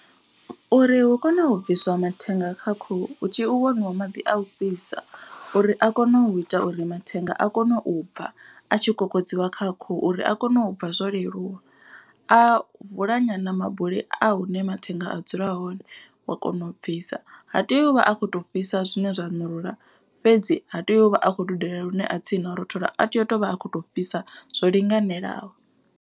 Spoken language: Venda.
Uri hu kone u bviswa mathenga kha khuhu hu tea u waniwa maḓi a u fhisa. Uri a kone u ita uri mathenga a kone u bva a tshi kokodziwa kha khuhu uri a kone u bva zwo leluwa. A vula nyana mabuli a hune mathenga a dzula hone wa kona u bvisa ha tei uvha a kho to fhisa zwine zwa ṋurula. Fhedzi ha tea uvha a kho dudela lune a tsini na u rothola a tea u tovha a khoto fhisa zwo linganelaho.